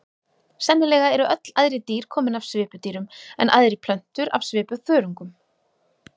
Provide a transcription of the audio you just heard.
Sennilega eru öll æðri dýr komin af svipudýrum en æðri plöntur af svipuþörungum.